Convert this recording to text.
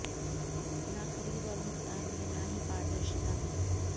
न खरीद और भुगतान में न ही पारदर्शिता में